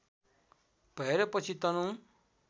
भएर पछि तनहुँ